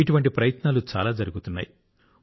ఇటువంటి ప్రయత్నాలు చాలా జరుగుతున్నాయి